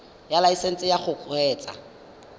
ya laesesnse ya go kgweetsa